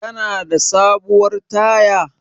Kana da sabuwar taya?